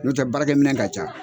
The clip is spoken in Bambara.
N'o tɛ baarakɛ minɛ ka ca.